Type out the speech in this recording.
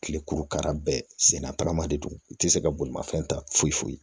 Kilekuru kara bɛɛ sen na taramale don u ti se ka bolimafɛn ta foyi foyi